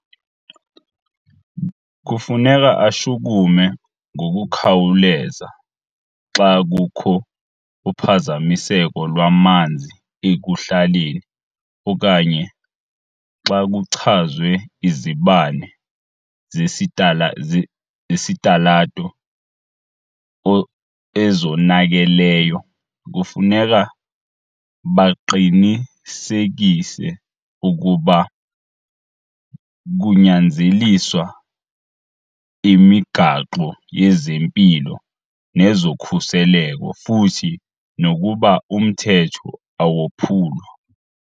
Kufuneka ashukume ngokukhawuleza xa kukho uphazamiseko lwamanzi ekuhlaleni okanye xa kuchazwe izibane zesitalato ezonakeleyo. Kufuneka baqinisekise ukuba kunyanzeliswa imigaqo yezempilo nezokhuseleko futhi nokuba umthetho awophulwa.